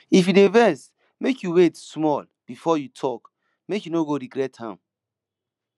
if you dey vex make you wait small before you talk make you no go regret am